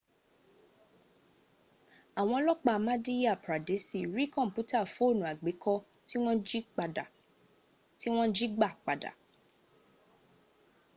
awon olopa madhya pradesi ri komputa foonu agbeko ti won ji gba pada